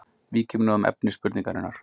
Víkjum nú að efni spurningarinnar.